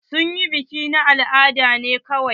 Sun yi biki na al'ada ne kawai.